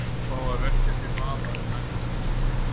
Það er mátulegt á hana að fá að velkjast í vafa um endurfundi.